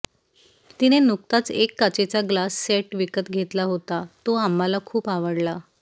तिने नुकताच एक काचेचा ग्लास सेट विकत घेतला होता तो आम्हाला खूप आवडला